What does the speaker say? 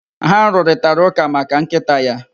Ha rụrịtaraụ́kà maka nkịta ya.